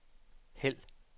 hæld